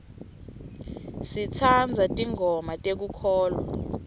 sitsandza tingoma tekukholwa